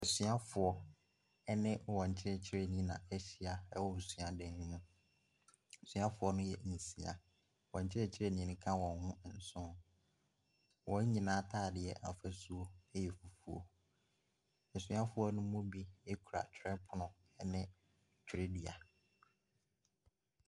Asuafoɔ ne wɔn kyerɛkyerɛni a ahyia wɔ suadan no mu. Asuafoɔ no yɛ nsia. Wɔn kyerɛkyerɛni no ka wɔn ho nson. Wɔn nyinaa atadeɛ afasuo yɛ fufuo. Asuafoɔ no mu bi kura twerɛpono ne twerɛdua.